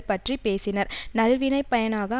பற்றி பேசினர் நல்வினைப் பயனாக